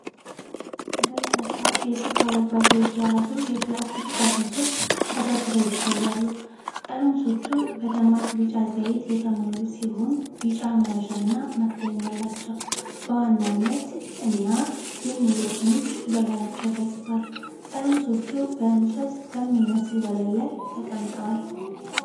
በርካታ የሱፍ አበባ ዘይት የያዙ የፕላስቲክ ጠርሙሶች ተደርድረው ይታያሉ። ጠርሙሶቹ በደማቅ ቢጫ ዘይት የተሞሉ ሲሆኑ ቢጫ መያዣና መክደኛ አላቸው። በዋናነት "Yonca" እና "For ALL" የሚሉ ስሞች በላያቸው ተጽፏል። ጠርሙሶቹ በእንጨት በሚመስል ወለል ላይ ተቀምጠዋል።